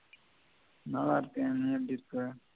நல்லாயிருக்கேன் நீ எப்படி இருக்க?